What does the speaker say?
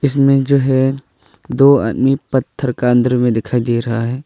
इसमें जो है दो आदमी पत्थर का अंदर में दिखाई दे रहा है।